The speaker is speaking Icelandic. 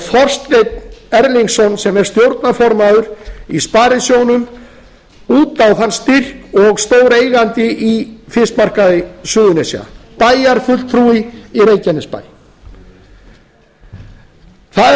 þorsteinn erlingsson sem er stjórnarformaður í sparisjóðnum út á þann styrk og stóreigandi í fiskmarkaði suðurnesja bæjarfulltrúi í reykjanesbæ það er